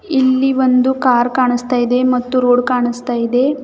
ಇಲ್ಲಿ ಒಂದು ಕಾರ್ ಕಾಣಿಸ್ತಾ ಇದೆ ಮತ್ತು ರೋಡ್ ಕಾಣಿಸ್ತಾ ಇದೆ.